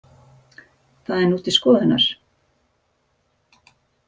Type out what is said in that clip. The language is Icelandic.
Það er nú til skoðunar